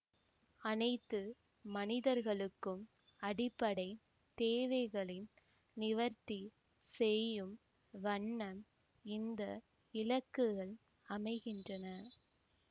அனைத்து மனிதர்களுக்கும் அடிப்படை தேவைகளை நிவர்த்தி செய்யும் வண்ணம் இந்த இலக்குகள் அமைகின்றன